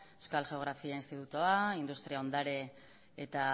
euskal geografia institutua industria ondare eta